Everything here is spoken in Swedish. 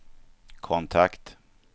kontakt